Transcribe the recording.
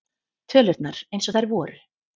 Tölurnar eins og þær voru.